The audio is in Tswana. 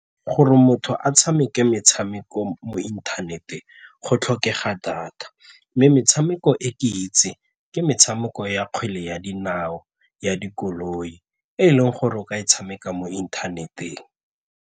Gore motho a tshameke metshameko mo inthaneteng go tlhokega data mme metshameko e ke itseng ke metshameko ya kgwele ya dinao, ya dikoloi e leng gore o ka e tshameka mo inthaneteng.